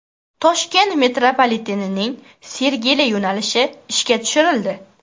Toshkent metropolitenining Sergeli yo‘nalishi ishga tushirildi.